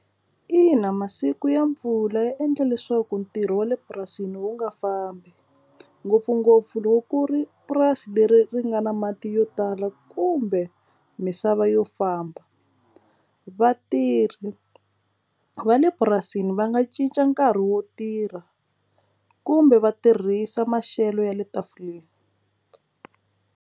Ina, masiku ya mpfula ya endla leswaku ntirho wa le purasini wu nga fambi ngopfungopfu loko ku ri purasi leri ri nga na mati yo tala kumbe misava yo famba vatirhi va le purasini va nga cinca nkarhi wo tirha kumbe va tirhisa maxelo ya le tafuleni.